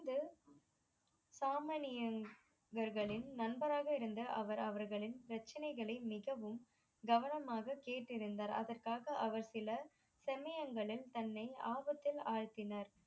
சாமனியர்களின் நண்பர்காக இருந்து அவர் அவர்களின் பிரச்சனைகளை மிகவும் கவனமாக கேட்டு அறிந்தார் அதற்காக அவர் சில செமையங்களில் தன்னை ஆபத்தில் ஆழ்த்தினர்